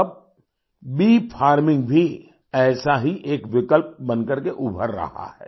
अब bee farming भी ऐसा ही एक विकल्प बन करके उभर रहा है